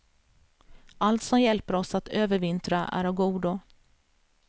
Allt som hjälper oss att övervintra är av godo.